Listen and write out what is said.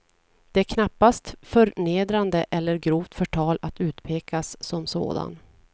Det är knappast förnedrande eller grovt förtal att utpekas som sådan.